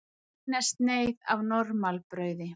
Eina sneið af normalbrauði.